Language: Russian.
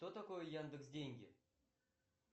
что такое яндекс деньги